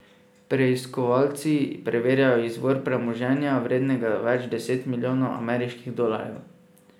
Preiskovalci preverjajo izvor premoženja, vrednega več deset milijonov ameriških dolarjev.